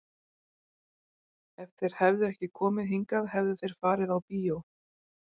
Ef þeir hefðu ekki komið hingað hefðu þeir farið á bíó.